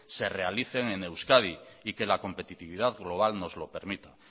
se realicen en euskadi y que la competitividad global nos lo permita